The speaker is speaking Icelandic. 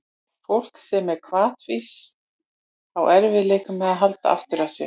Fólk sem er hvatvíst á í erfiðleikum með að halda aftur af sér.